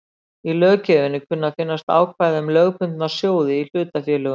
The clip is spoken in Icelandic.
Í löggjöfinni kunna að finnast ákvæði um lögbundna sjóði í hlutafélögum.